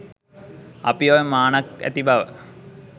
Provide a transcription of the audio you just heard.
අපි ඔය මානක් ඇති බව